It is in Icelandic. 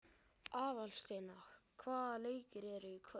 Aðalsteina, hvaða leikir eru í kvöld?